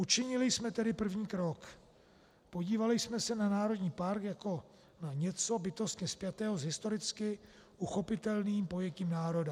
Učinili jsme tedy první krok - podívali jsme se na národní park jako na něco bytostně spjatého s historicky uchopitelným pojetím národa.